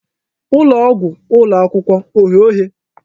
Ụlọ ọgwụ ụlọ akwụkwọ oghe oghe?